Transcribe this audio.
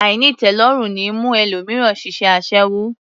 Àìnítẹ̀ẹ́lọ́rùn ní mú ẹlòmíràn ṣiṣẹ́ aṣẹ́wó